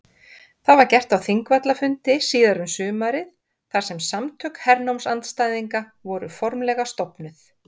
Það var gert á Þingvallafundi síðar um sumarið þar sem Samtök hernámsandstæðinga voru formlega stofnuð.